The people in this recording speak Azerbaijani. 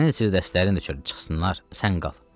Sənin sirdaşların da çıxsınlar, sən qal.